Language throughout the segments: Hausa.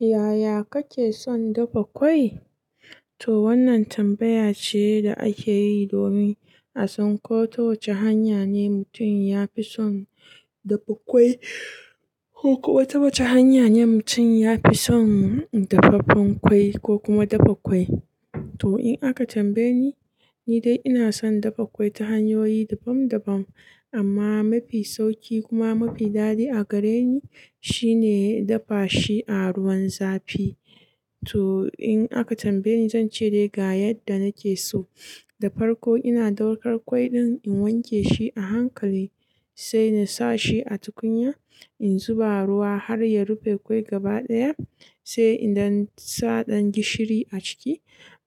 Yaya kake son dafa ƙwai? To wannan tambaya ce da ake yi domin a san ko ta wace hanya ne mutum ya fi son dafa ƙwai ko wata wace hanya ne mutum ya fi son dafaffen ƙwai ko kuma dafa ƙwai. To in aka tambaye ni, ni dai ina son dafa ƙwai ta hanyoyi daban-daban amma mafi sauƙi kuma mafi daɗi a gare ni shine dafa shi a ruwan zafi. To in aka tambaye ni zan ce dai ga yadda nake so. Da farko ina ɗaukar ƙwai ɗin in wanke shi a hankali sai in sa shi a tukunya, in zuba ruwa har ya rufe ƙwai gaba ɗaya sai in ɗan sa ɗan gishiri a ciki.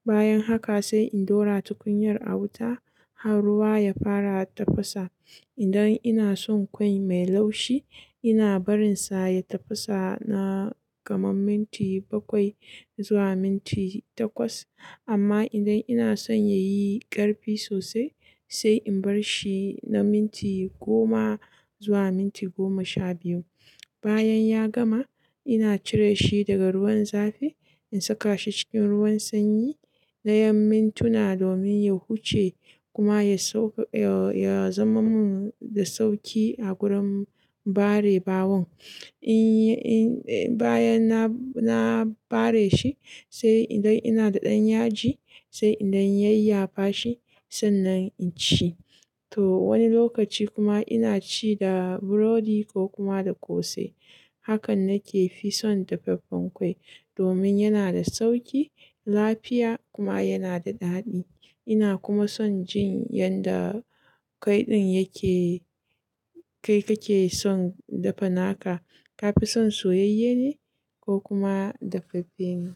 Bayan haka sai in ɗora tukuyar a wuta har ruwa ya fara tafasa. Idan ina son ƙwai mai laushi ina barin sa ya tafasa na kaman minti bakwai zuwa minti takwas. Amma idan ina son ya yi ƙarfi sosai sai in bar shi na minti goma zuwa minti goma sha biyu. Bayan ya gama ina cire shi daga ruwan zafi in saka shi cikin ruwan sanyi na ƴan mintuna domin ya huce kuma ya sau-- ya zama mun da sauƙi a gurin ɓare bawon. In, in, bayan na, na ɓare shi sai idan ina da ɗan yaji sai in ɗan yayya fa shi sannan in ci. To wani lokaci kuma ina ci da burodi ko kuma da ƙosai. Hakan nake fi son dafaffen ƙwai domin yana da sauƙi, lafiya kuma yana da daɗi. Ina kuma son jin yanda ƙwai ɗin yake, kai kake son dafa naka. Ka fi son soyayye ne ko kuma dafaffe ne?